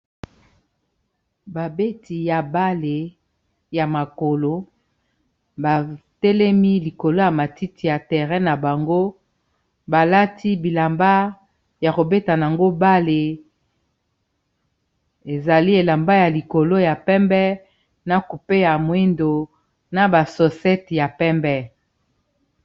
Ba beti ya ndembo ya makolo batelemi likolo ya matiti ya terre na bango balati bilamba ya kobetana yango bale ezali elamba ya likolo ya pembe na kupeya mwindo na basosete ya pembe